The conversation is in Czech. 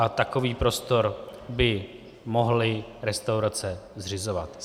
A takový prostor by mohly restaurace zřizovat.